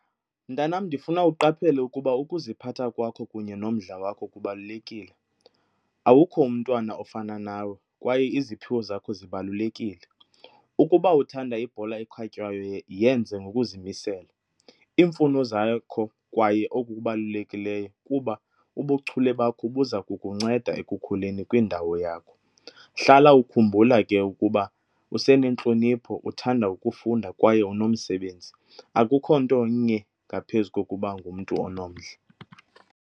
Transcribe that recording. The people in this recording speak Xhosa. Mntanam, ndifuna uqaphele ukuba ukuziphatha kwakho kunye nomdla wakho kubalulekile, awukho umntwana ofana nawe kwaye iziphiwo zakho zibalulekile. Ukuba uthanda ibhola ekhatywayo yenze ngokuzimisela. Iimfuno zakho kwaye okubalulekileyo kuba ubuchule bakho buza kukunceda ekukhuleni kwindawo yakho. Hlala ukhumbula ke ukuba usenentlonipho, uthanda ukufunda kwaye unomsebenzi, akukho nto nye ngaphezu kokuba ngumntu onomdla.